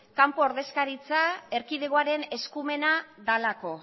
kanpo ordezkaritza erkidegoaren eskumena delako